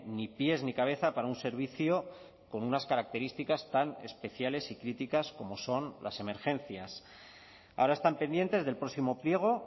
ni pies ni cabeza para un servicio con unas características tan especiales y críticas como son las emergencias ahora están pendientes del próximo pliego